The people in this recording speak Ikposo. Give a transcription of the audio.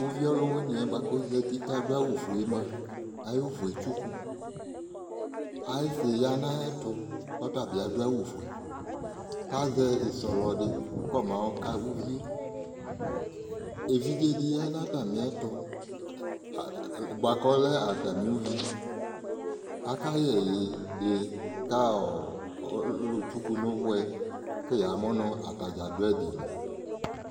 Uvi ɔlʋwɩnɩ yɛ bʋa k'ozati k'adʋ awʋ fue mua, ayʋ vʋ yɛ etsuku Ayɩsɩ ya n'ayɛtʋ k'ɔta bɩ adʋ awʋ fue k'azɛ ɩsɔlɔ dɩ kɔ mayɔ ka uvi yɛ Evidze dɩ ya n'stamiɛtʋ, bʋa k'ɔlɛ atamɩ uvi Aka yɛ ƐYI dɩ ka ɔɔ ɔlʋtsuku n'ʋvʋ yɛ, kʋ yamʋ nʋ atadzaa dʋ ɛdɩ li